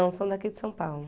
são daqui de São Paulo.